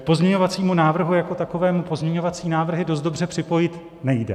K pozměňovacímu návrhu jako takovému pozměňovací návrhy dost dobře připojit nejde.